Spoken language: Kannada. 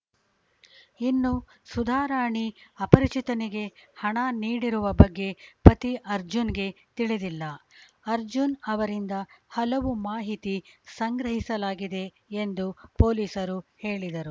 ಇನ್ನು ಸುಧಾರಾಣಿ ಅಪರಿಚಿತನಿಗೆ ಹಣ ನೀಡಿರುವ ಬಗ್ಗೆ ಪತಿ ಅರ್ಜುನ್‌ಗೆ ತಿಳಿದಿಲ್ಲ ಅರ್ಜುನ್‌ ಅವರಿಂದ ಹಲವು ಮಾಹಿತಿ ಸಂಗ್ರಹಿಸಲಾಗಿದೆ ಎಂದು ಪೊಲೀಸರು ಹೇಳಿದರು